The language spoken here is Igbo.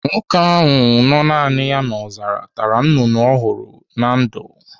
Nwoke ahụ nọ naani ya n'ọzara tara nnụnụ ọ hụrụ na ndụ.